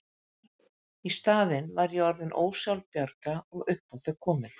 Í staðinn var ég orðin ósjálfbjarga og upp á þau komin.